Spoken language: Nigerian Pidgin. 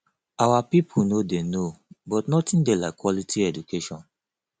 our people no dey no but nothing dey like quality education